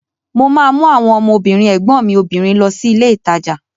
Mo ma mú àwọn ọmọ obìnrin ẹ̀gbọ́n mi obìnrin lọ sí ilé ìtajà